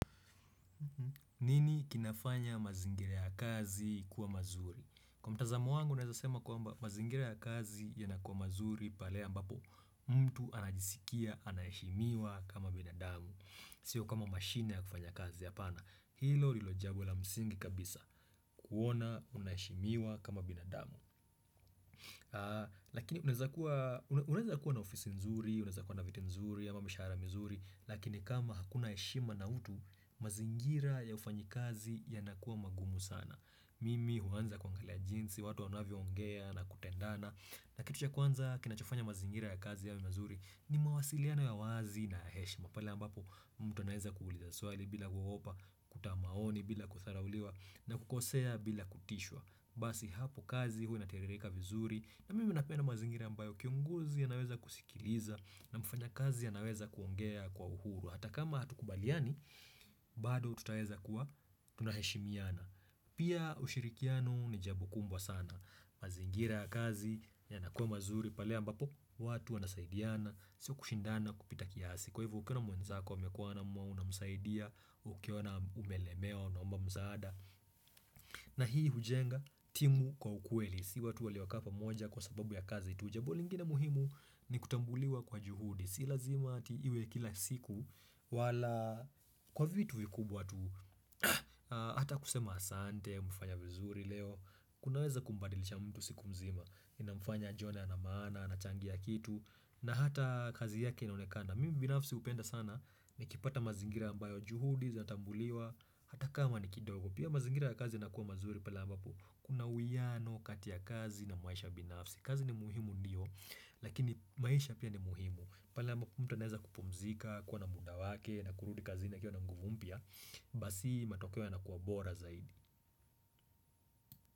Nini kinafanya mazingira ya kazi kuwa mazuri? Kwa mtazamo wangu naweza sema kwamba mazingira ya kazi yanakuwa mazuri pale ambapo mtu anajisikia anaheshimiwa kama binadamu. Sio kama mashine ya kufanya kazi hapana. Hilo lilojambo la msingi kabisa. Kuona unaheshimiwa kama binadamu. Lakini unaeza kuwa, unaweza kuwa na ofisi nzuri, unazakuwa na viti nzuri ama mshahara mzuri. Lakini kama hakuna heshima na utu, mazingira ya ufanyikazi yanakuwa magumu sana Mimi huanza kwa kila jinsi watu wanavyoongea na kutendana. Na kitu cha kwanza kinachofanya mazingira ya kazi yawe mazuri ni mawasiliano ya wazi na heshima pale ambapo mtu anaweza kuuliza swali bila kuogopa, kutoa maoni bila kudharauliwa na kukosea bila kutishwa Basi hapo kazi huwa inatiririka vizuri na mimi napenda mazingira ambayo kiongozi anaweza kusikiliza na mfanya kazi anaweza kuongea kwa uhuru. Hata kama hatukubaliani bado tutaweza kuwa tunaheshimiana Pia ushirikiano ni jambo kubwa sana. Mazingira ya kazi yanakuwa mazuri pale ambapo watu wanasaidiana sio kushindana kupita kiasi. Kwa hivyo ukiona mwenzako amekwama na unamsaidia. Ukiona umelemewa unaomba msaada na hii hujenga timu kwa ukweli si watu waliokaa pamoja kwa sababu ya kazi tu. Jambo lingine muhimu ni kutambuliwa kwa juhudi si lazima tu iwe kila siku wala kwa vitu vikubwa tu, hata kusema asante umefanya vizuri leo kunaweza kumbadilisha mtu siku mzima inamfanya ajione ana maana anachangia kitu na hata kazi yake inaonekana. Mimi binafsi hupenda sana nikipata mazingira ambayo juhudi zatambuliwa hata kama ni kidogo. Pia mazingira ya kazi inakuwa mazuri pale ambapo kuna uwiano kati ya kazi na maisha binafsi. Kazi ni muhimu ndiyo, lakini maisha pia ni muhimu. Pale amba mtu anaweza kupumzika, kuwa na muda wake na kurudi kazini akiwa na nguvu mpya basi matokeo yanakuwa bora zaidi.